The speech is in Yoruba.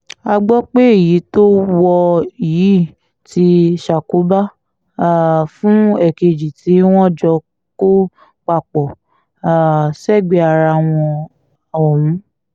a gbọ́ pé èyí tó wọ̀ yìí ti ṣàkóbá um fún èkejì tí wọ́n jọ kó papọ̀ um sẹ́gbẹ̀ẹ́ ara wọn ọ̀hún